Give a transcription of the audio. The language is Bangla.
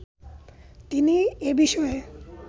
তিনি এ বিষয়ে